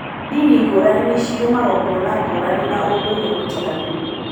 Ndini ngũrani nĩ cirĩ magongona ngũrani na ũndũire mũtiganu.